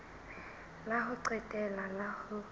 la ho qetela la ho